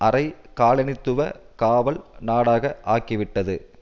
அரை காலனித்துவ காவல் நாடாக ஆக்கிவிட்டது